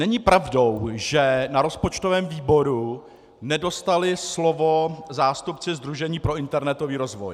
Není pravdou, že na rozpočtovém výboru nedostali slovo zástupci Sdružení pro internetový rozvoj.